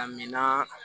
A mina